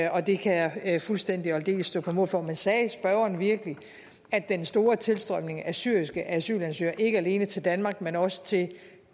og det kan jeg fuldstændig og aldeles stå på mål for men sagde spørgeren virkelig at den store tilstrømning af syriske asylansøgere ikke alene til danmark men også til